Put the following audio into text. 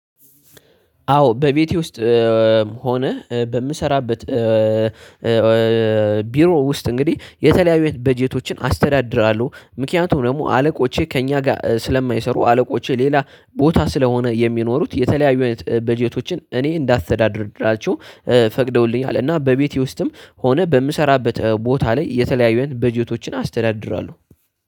አዎ በቤቴ ውስጥ ሆነህ በምሰራበት ቢሮ ውስጥ እንግዲህ የተለያዩ በጀቶችን አስተዳድራለሁ። ምክንያቱም ደግሞ አለቆቼ ከእኛ ጋር ስለማይሰሩ አለቆቼ ሌላ ቦታ ስለሆነ የሚኖሩት የተለያዩ በጀቶችን እኔ እንዳስተዳደርድራቸው ፈቅደውልኛል አለ። እና በቤቴ ውስጥም ሆነ በምሰራበት ቦታ ላይ የተለያዩን በጀቶችን አስተዳድራለሁ